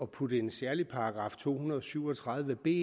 putte en særlig paragraf to hundrede og syv og tredive b